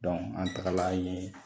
Dɔnku an taga ye